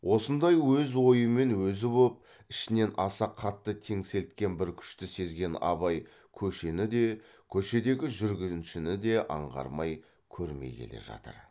осындай өз ойымен өзі боп ішінен аса қатты теңселткен бір күшті сезген абай көшені де көшедегі жүргіншіні де аңғармай көрмей келе жатыр